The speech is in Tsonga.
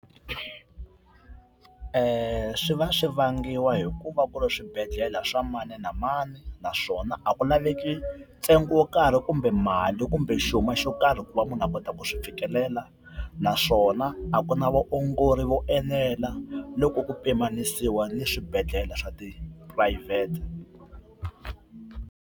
Swi va swi vangiwa hi ku va ku ri ka swibedhlele swa mani na mani naswona a ku laveki ntsengo wo karhi kumbe mali kumbe nxuma xo karhi ku va munhu a kota ku swi fikelela, naswona a ku na vaongori vo enela loko ku pimanisiwa ni swibedhlele swa tiphurayivhete.